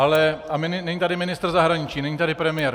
A není tady ministr zahraničí, není tady premiér.